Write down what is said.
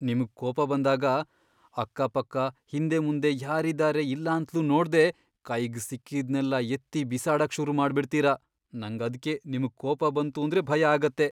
ನಿಮ್ಗ್ ಕೋಪ ಬಂದಾಗ ಅಕ್ಕಪಕ್ಕ ಹಿಂದೆಮುಂದೆ ಯಾರಿದಾರೆ ಇಲ್ಲಾಂತ್ಲೂ ನೋಡ್ದೆ ಕೈಗ್ ಸಿಕ್ಕಿದ್ನೆಲ್ಲ ಎತ್ತಿ ಬಿಸಾಡಕ್ ಶುರು ಮಾಡ್ಬಿಡ್ತೀರ, ನಂಗದ್ಕೆ ನಿಮ್ಗ್ ಕೋಪ ಬಂತೂದ್ರೆ ಭಯ ಆಗತ್ತೆ.